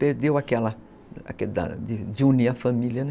Perdeu aquela... aquele de unir a família, né?